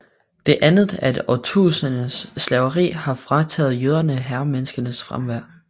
Det andet er at årtusinders slaveri har frataget jøderne herremenneskenes fremfærd